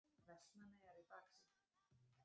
Vestmannaeyjar í baksýn.